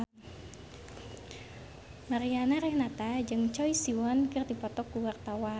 Mariana Renata jeung Choi Siwon keur dipoto ku wartawan